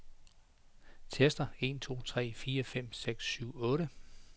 Tester en to tre fire fem seks syv otte.